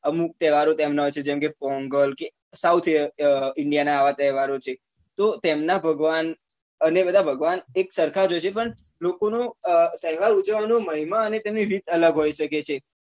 અમુક તહેવારો તેમના હોય છે જેમ કે પોંગલ કે south india નાં અવ તહેવાર ઓ હોય છે તો તેમના ભગવાન અને બધા ભગવાન એક સરખા જ હોય છે પણ લોકો નો તહેવાર ઉજવવા નો મહિમા અને તેમની રીત અલગ હોઈ શકે છે